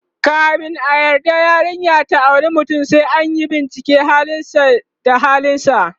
kamin a yarda yarinya ta auri mutum, sai anyi binciken halin sa da ahlinsa